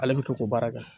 Ale bɛ to ko baara kɛ